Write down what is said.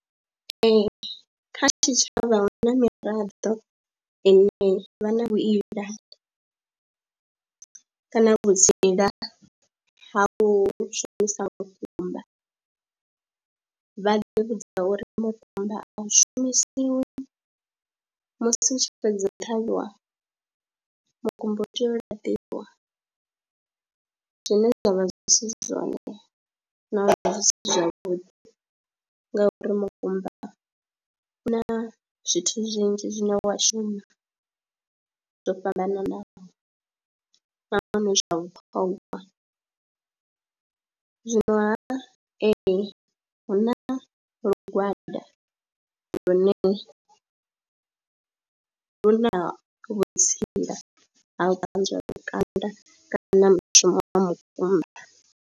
Ee, kha tshitshavha hu na miraḓo ine vha na vhutsila kana vhutsila ha hu shumisa mukumba, vha ḓi vhudza uri mukumba a u shumisiwi musi u tshi fhedza u ṱhavhiwa, mukumba u tea u laṱiwa zwine zwa vha zwi si zwone na uri zwi si zwavhuḓi ngauri mukumba u na zwithu zwinzhi zwine wa shuma zwo fhambananaho nahone zwa vhuṱhongwa, zwinoha ee, hu na lugwada lune lu na vhutsila ha u ṱanzwa lukanda kana mushumo wa mukumba.